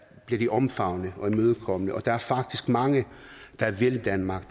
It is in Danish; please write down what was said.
de omfavnet og imødekommet og der er faktisk mange der vil danmark